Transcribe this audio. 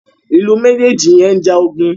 Ilú mejeji yén njà ogun.